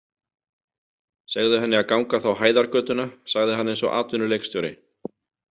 Segðu henni að ganga þá Hæðargötuna, sagði hann eins og atvinnuleikstjóri.